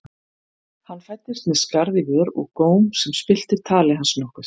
Hann fæddist með skarð í vör og góm sem spillti tali hans nokkuð.